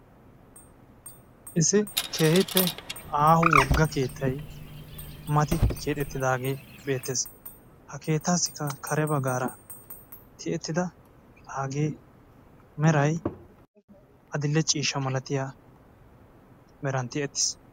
issi keehippe aaho woga keettay mati keexetidaage beettes, ha keetaasikka kare bagaara tiyettida meray adil'e ciishshan tiyettiis.